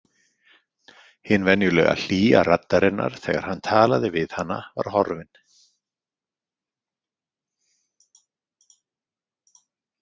Hin venjulega hlýja raddarinnar þegar hann talaði við hana var horfin.